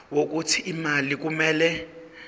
wokuthi imali kumele